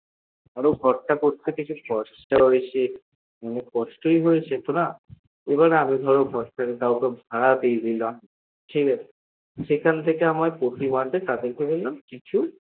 আর ঘর তা করতে কিছু কষ্ট হয়েছে আর কষ্টই হয়েছে না আর ধর আমি যদি ভাড়া দিয়ে দিলাম ঠিকাছে সেখান থেকে আমার প্রতি মাসে কিছু